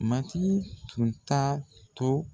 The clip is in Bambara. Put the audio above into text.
Matigi tun t'a to.